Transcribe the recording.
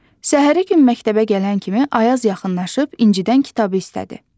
Səhəri gün məktəbə gələn kimi Ayaz yaxınlaşıb İncidən kitabı istədi.